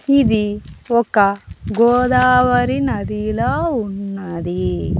ఇది ఒక గోదావరి నదిలా ఉన్నది.